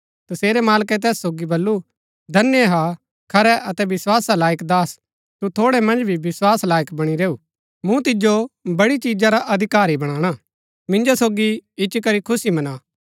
तसेरै मालकै तैस सोगी बल्लू धन्य हा खरै अतै विस्‍वासा लायक दास तू थोड़ै मन्ज भी विस्वास लायक बणी रैऊआ मूँ तिजो बड़ी चिजा रा अधिकारी बणाणा मिन्जो सोगी इच्ची करी खुशी मना